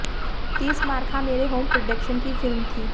तीस मार खां मेरे home production की फिल्म थी